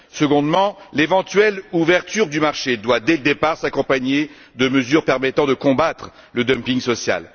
secondement, l'éventuelle ouverture du marché doit dès le départ s'accompagner de mesures permettant de combattre le dumping social.